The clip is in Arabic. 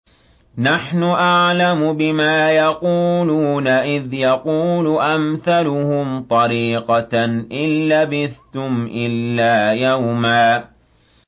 نَّحْنُ أَعْلَمُ بِمَا يَقُولُونَ إِذْ يَقُولُ أَمْثَلُهُمْ طَرِيقَةً إِن لَّبِثْتُمْ إِلَّا يَوْمًا